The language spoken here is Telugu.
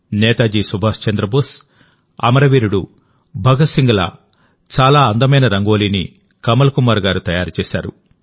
నేతాజీ సుభాష్ చంద్రబోస్ అమర వీరుడు భగత్ సింగ్ ల చాలా అందమైన రంగోలీని కమల్ కుమార్ గారు తయారు చేశారు